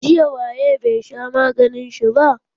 Jiya waye bai sha maganin shi ba?